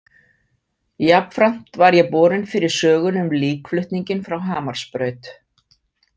Jafnframt var ég borinn fyrir sögunni um líkflutninginn frá Hamarsbraut.